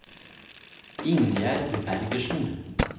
Ingjerd Bergersen